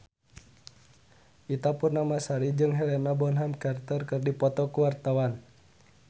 Ita Purnamasari jeung Helena Bonham Carter keur dipoto ku wartawan